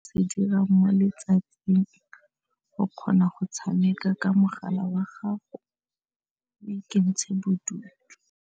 Se dira mo letsatsing go kgona go tshameka ka mogala wa gago le ikentsha bodutu.